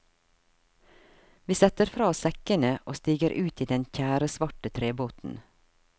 Vi setter fra oss sekkene og stiger ut i den tjæresvarte trebåten.